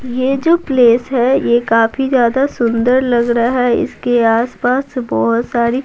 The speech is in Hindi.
यह जो प्लेस है यह काफी ज्यादा सुंदर लग रहा है इसके आसपास बहुत सारी --